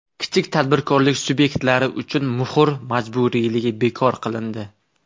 Kichik tadbirkorlik subyektlari uchun muhr majburiyligi bekor qilindi.